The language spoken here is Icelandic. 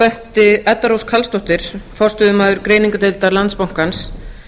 benti edda rós karlsdóttir forstöðumaður greiningardeildar landsbankans